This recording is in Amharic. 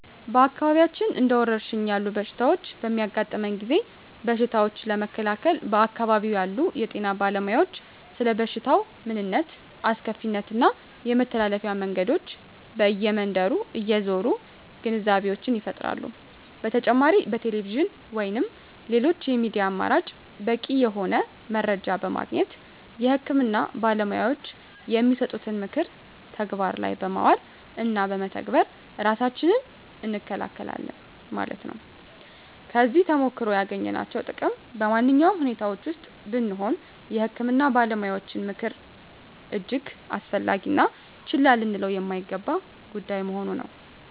በአካባቢያችን እንደ ወረርሽኝ ያሉ በሽታዎች በሚያጋጥመን ጊዜ በሽታዎችን ለመከላከል በአካባቢው ያሉ የጤና ባለሞያዎች ስለበሽታው ምንነት አስከፊነት እና የመተላለፊያ መንገዶ በእየ መንደሩ እየዞሩ ግንዛቤወችን ይፈጥራሉ በተጨማሪ በቴሌቪዥን ወይንም ሌሎች የሚዲያ አማራጭ በቂ የሆነ መረጃ በማግኘት የህክምና ባለሞያዎች የሚሰጡትን ምክር ተግባር ላይ በማዋል እና በመተግበር እራሳችንን እንከለከላለን ማለት ነው። ከዚህ ተሞክሮ ያገኘናቸው ጥቅም በማነኛውም ሁኔታወች ወስጥ ብንሆነ የህክምና ባለሞያዎች ምክር እጅግ አስፈላጊ እና ችላ ልንለው የማይገባ ጉዳይ መሆኑ ነው